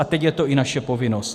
A teď je to i naše povinnost.